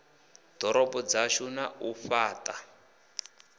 ḓorobo dzashu na u fhaṱha